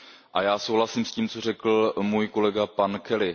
A já souhlasím s tím, co řekl můj kolega pan Kelly.